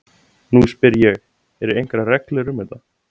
Nú spyr ég- eru einhverjar reglur um þetta?